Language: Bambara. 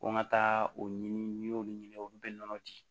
Ko n ka taa o ɲini n'i y'olu ɲini olu bɛ nɔnɔ di